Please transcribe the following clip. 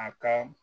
A ka